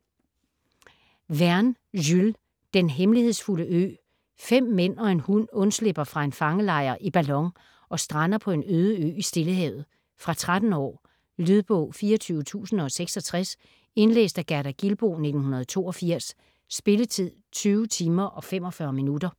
Verne, Jules: Den hemmelighedsfulde ø Fem mænd og en hund undslipper fra en fangelejr i ballon og strander på en øde ø i Stillehavet. Fra 13 år. Lydbog 24066 Indlæst af Gerda Gilboe, 1982. Spilletid: 20 timer, 45 minutter.